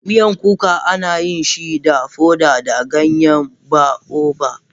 Miyan kuka ana yin shi da foda da ganyen baobab.